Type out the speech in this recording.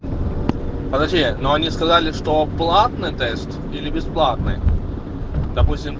подожди но они сказали что платный тест или бесплатный допустим